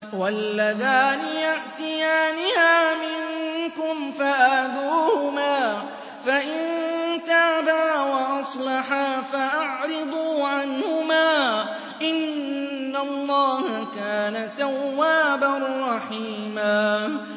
وَاللَّذَانِ يَأْتِيَانِهَا مِنكُمْ فَآذُوهُمَا ۖ فَإِن تَابَا وَأَصْلَحَا فَأَعْرِضُوا عَنْهُمَا ۗ إِنَّ اللَّهَ كَانَ تَوَّابًا رَّحِيمًا